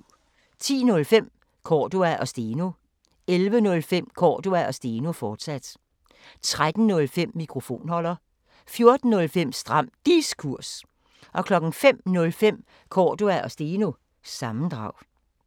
10:05: Cordua & Steno 11:05: Cordua & Steno, fortsat 13:05: Mikrofonholder 14:05: Stram Diskurs 05:05: Cordua & Steno – sammendrag